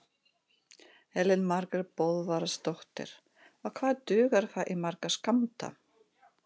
Elín Margrét Böðvarsdóttir: Og hvað dugar það í marga skammta?